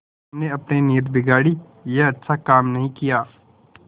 तुमने अपनी नीयत बिगाड़ी यह अच्छा काम नहीं किया